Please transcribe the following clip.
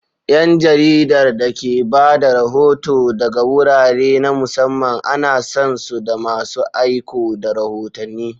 ’Yan jaridar da ke ba da rahoto daga wurare na musamman ana san su da masu aiko da rahotanni.